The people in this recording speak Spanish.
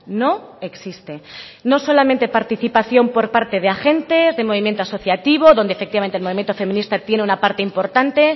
no existe no solamente participación por parte de agentes de movimientos asociativos donde efectivamente el movimiento feminista tiene una parte importante